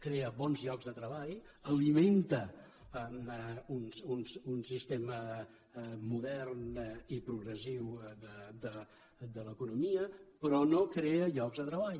crea bons llocs de treball alimenta un sistema modern i progressiu de l’economia però no crea llocs de treball